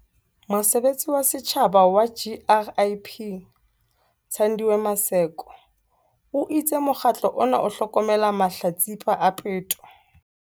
Mosebeletsi wa setjhaba wa GRIP, Thandiwe Maseko, o itse mokgatlo ona o hlokomela mahlatsipa a peto.